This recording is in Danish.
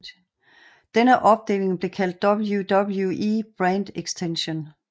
Denne opdeling blev kaldt WWE Brand Extension